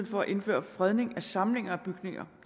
for at indføre fredning af samlinger af bygninger